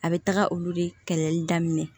A bɛ taga olu de kɛlɛli daminɛ